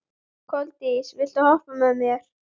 Koldís, viltu hoppa með mér?